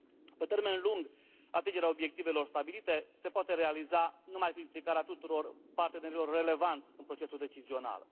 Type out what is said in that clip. Pe termen lung, atingerea obiectivelor stabilite se poate realiza numai cu implicarea tuturor partenerilor relevanți în procesul decizional.